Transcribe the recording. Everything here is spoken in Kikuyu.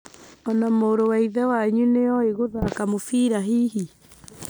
Ona mũrũwa ithe wanyu nĩ oĩ gũthaka mũbira hihi?